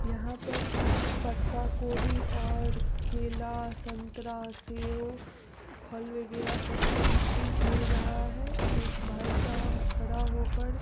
यहाँ पर कुछ पत्ता गोभी और केला संतरा सेब फल वगैरह सब्जी-उब्जी मिल रहा है। एक भाई साहब खड़ा हो कर ---